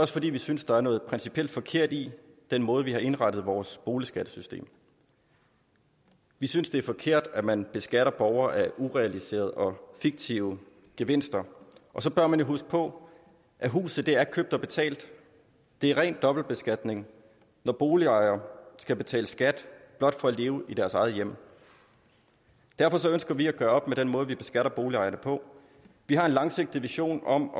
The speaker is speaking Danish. fordi vi synes der er noget principielt forkert i den måde vi har indrettet vores boligskattesystem vi synes det er forkert at man beskatter borgere af urealiserede og fiktive gevinster og så bør man jo huske på at huset er købt og betalt det er ren dobbeltbeskatning når boligejere skal betale skat blot for at leve i deres eget hjem derfor ønsker vi at gøre op med den måde vi beskatter boligejerne på vi har en langsigtet vision om